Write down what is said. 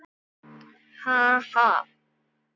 Ha, ha.